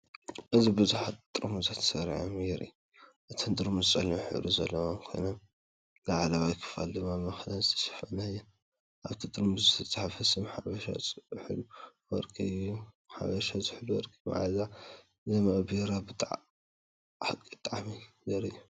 እዚ ቡዝሓት ጥርሙዝ ተሰሪዖም የርኢ። እተን ጥርሙዝ ጸሊም ሕብሪ ዘለወን ኮይነን ላዕለዋይ ክፋል ድማ ብመክደን ዝተሸፈነ እየን። ኣብቲ ጥርሙዝ ዝተጻሕፈ ስም፡“ሓበሻ ዝሑል ወርቂ” እዩ። ሓበሻ ዝሑል ወርቂ – መኣዛ ዝመልአ ቢራ፡ ብሓቂ ጣዕሚ ዘርኢ እዩ።